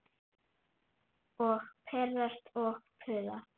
Og pirrast og puða.